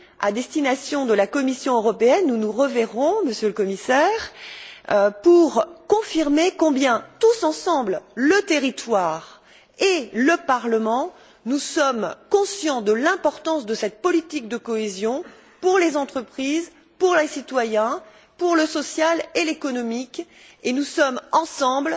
à destination de la Commission européenne nous nous reverrons, Monsieur le Commissaire pour confirmer combien, tous ensemble, le territoire et le Parlement, nous sommes conscients de l'importance de cette politique de cohésion pour les entreprises, pour les citoyens, pour le social et l'économique, et nous sommes ensemble